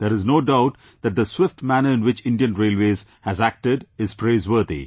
There is no doubt that the swift manner in which Indian Railways has acted is praiseworthy